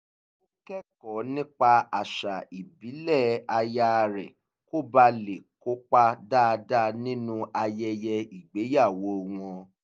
ó kẹ́kọ̀ọ́ nípa àṣà ìbílẹ̀ aya rẹ̀ kó bàa lè kópa dáadáa nínú ayẹyẹ ìgbéyàwó wọn